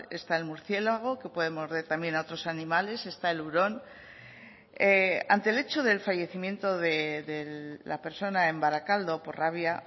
está el murciélago que puede morder también a otros animales está el hurón ante el hecho del fallecimiento de la persona en barakaldo por rabia